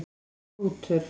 Rútur